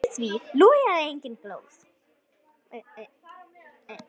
Í því logaði engin glóð.